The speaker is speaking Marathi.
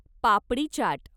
पापडी चाट